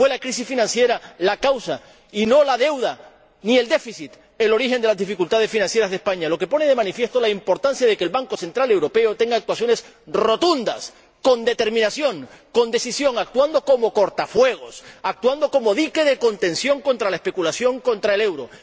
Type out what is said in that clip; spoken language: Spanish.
Fue la crisis financiera la causa, y no la deuda ni el déficit el origen de las dificultades financieras de España, lo que pone de manifiesto la importancia de que el Banco Central Europeo despliegue actuaciones rotundas, con determinación, con decisión, actuando como cortafuegos, actuando como dique de contención contra la especulación contra el euro.